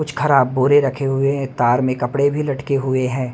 कुछ खराब बोरे रखे हुए हैं तार में कपड़े भी लटके हुए हैं।